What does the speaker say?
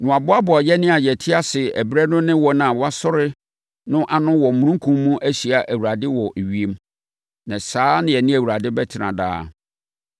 na wɔaboaboa yɛn a yɛte ase ɛberɛ no ne wɔn a wɔasɔre no ano wɔ omununkum mu ahyia Awurade wɔ ewiem. Na saa na yɛne Awurade bɛtena daa.